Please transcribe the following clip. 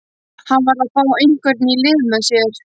Hann varð að fá einhvern í lið með sér.